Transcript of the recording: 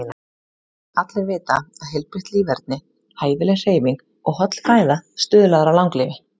Allir vita að heilbrigt líferni, hæfileg hreyfing og holl fæða stuðlar að langlífi.